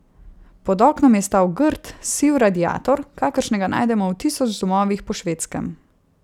Pod oknom je stal grd, siv radiator, kakršnega najdemo v tisoč domovih po Švedskem.